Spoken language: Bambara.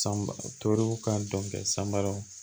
San ba turuw ka dɔn san baro